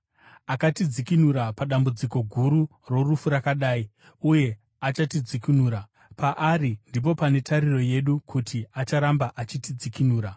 Akatidzikinura padambudziko guru rorufu rakadai, uye achatidzikinura. Paari ndipo pane tariro yedu kuti acharamba achitidzikinura,